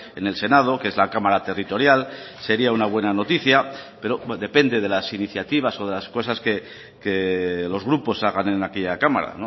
en el senado que es la cámara territorial sería una buena noticia pero depende de las iniciativas o de las cosas que los grupos hagan en aquella cámara